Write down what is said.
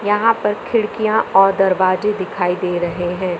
यहां पर खिड़कियां और दरवाजे दिखाई दे रहे हैं।